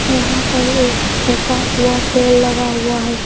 यहां पर एक सूखा हुआ पेड़ लगा हुआ है।